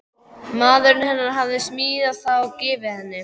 Maðurinn hennar hafði smíðað það og gefið henni.